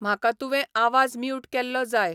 म्हाका तुुवें आवाज म्यूट केल्लो जाय